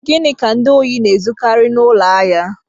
Gịnị ka ndị ohi na-ezukari n'ụlọ ahịa?